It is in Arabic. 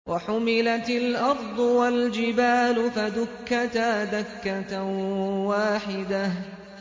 وَحُمِلَتِ الْأَرْضُ وَالْجِبَالُ فَدُكَّتَا دَكَّةً وَاحِدَةً